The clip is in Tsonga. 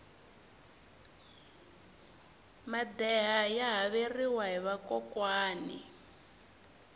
madeha ya haveriwa hi vakokwani